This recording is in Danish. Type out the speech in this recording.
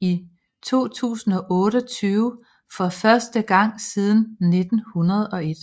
i 2028 for første gang siden 1901